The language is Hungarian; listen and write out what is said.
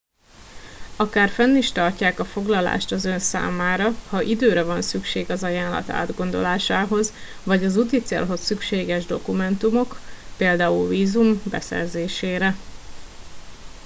akár fenn is tartják a foglalást az ön számára ha időre van szüksége az ajánlat átgondolásához vagy az úticélhoz szükséges más dokumentumok például vízum beszerzésére